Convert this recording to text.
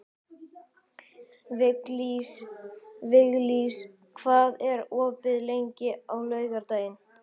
Viglís, hvað er opið lengi á laugardaginn?